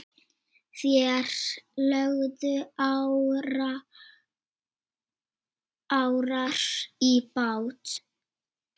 Þeir lögðu árar í bát.